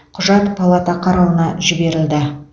құжат палата қарауына жіберілді